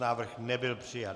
Návrh nebyl přijat.